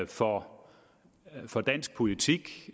for for dansk politik